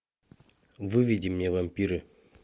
выведи мне вампиры